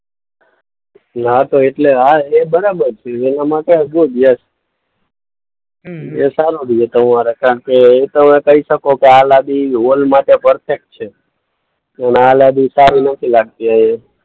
ના તો એટલે હા એ બરાબર છે. એનામાં તો હતું જ યસ. એ તમારો કારણકે તમે કહી શકો કે આ લાદી હોલ માટે પરફેક્ટ છે અને આ લાદી સારી નથી લાગતી અહીંયા.